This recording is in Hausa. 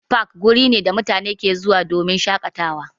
Fak wuri ne da mutane ke zuwa domin shaƙatawa.